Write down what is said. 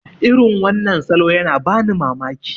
irin wannan salo yana bani mamaki